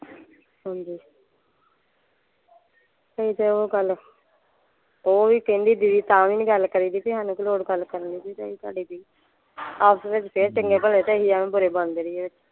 ਹਾਂਜੀ ਕਹਿ ਤੇ ਓਹ ਗੱਲ ਓਹ ਵੀ ਕਹਿੰਦੀ ਦੀਦੀ ਤਾਂ ਵੀ ਨਹੀਂ ਗੱਲ ਕਰੀਦੀ ਬੀ ਸਾਨੂੰ ਕੀ ਲੋੜ ਗੱਲ ਕਰਨ ਦੀ ਸਾਡੇ ਬੀ ਆਪਸ ਚ ਫੇਰ ਚੰਗੇ ਭਲੇ ਤੇ ਅਸੀਂ ਐਵੇਂ ਬੁਰੇ ਬਣਦੇ ਰਹੀਏ।